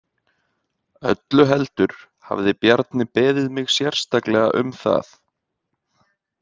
Öllu heldur hafði Bjarni beðið mig sérstaklega um það.